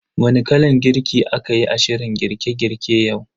Wani kalan girki a kayi a shirin girke girke yau?